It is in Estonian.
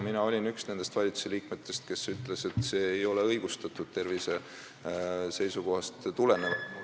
Mina olin üks nendest valitsusliikmetest, kes ütles, et see ei ole tervise seisukohast tulenevalt õigustatud.